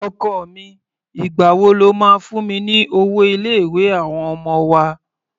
Ọkọ mi, ìgbà wo lo máa fún mi ní owó ilé-ìwé àwọn ọmọ wa?